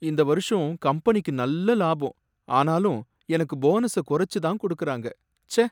இந்த வருஷம் கம்பெனிக்கு நல்ல லாபம், ஆனாலும் எனக்கு போனஸ குறச்சு தான் கொடுக்கறாங்க. ச்சே!